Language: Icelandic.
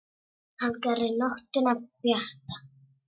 Hann gerir nóttina bjarta.